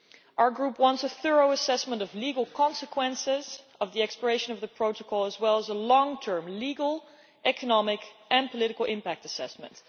Our Group wants a thorough assessment of the legal consequences of the expiration of the protocol, as well as a long term legal, economic and political impact assessment.